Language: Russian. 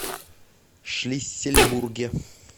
шлиссельбурге